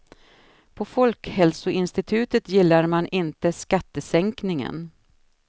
På folkhälsoinstitutet gillar man inte skattesänkningen.